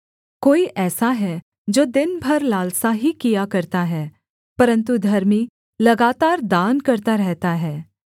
कोई ऐसा है जो दिन भर लालसा ही किया करता है परन्तु धर्मी लगातार दान करता रहता है